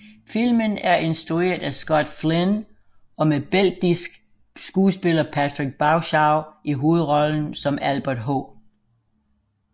Filmen er instrueret af Scott Flynn og med belgisk skuespiller Patrick Bauchau i hovedrollen som Albert H